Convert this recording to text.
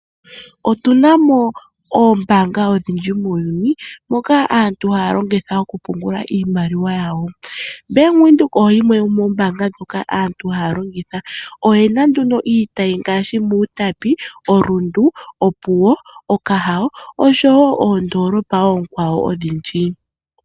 Otu namo oombaanga odhindji muuyuni moka aantu haya longitha oku pungula iimaliwa yawo. Bank Windhoek oyo yimwe yomoo mbaanga ndhoka aantu longitha, oyena nduno oku pungula iimaliwa yawo. Bank Windhoek oyo yimwe yomoo mbaanga mbaanga ndhoka aantu haya longitha, oyina iitayi ngaashi oku Utapi, oRundu, Opuwo, Okahandja, Okahao osho wo oondolopa oonkwawo odhindji.